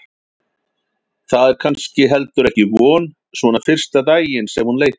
Það er kannski heldur ekki von svona fyrsta daginn sem hún leitar.